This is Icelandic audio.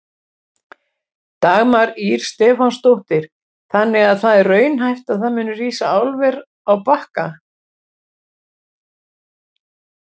Dagmar Ýr Stefánsdóttir: Þannig að það er raunhæft að það muni rísa álver á Bakka?